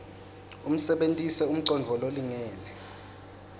usebentise umcondvo lolingene